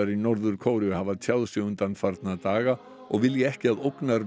í Norður Kóreu hafa tjáð sig undanfarna daga og vilja ekki að